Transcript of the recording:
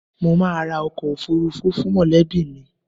Mo máa ra ọkọ̀ òfuurufú fún mọ̀lẹ́bí mi